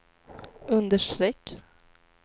understreck